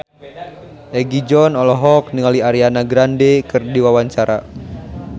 Egi John olohok ningali Ariana Grande keur diwawancara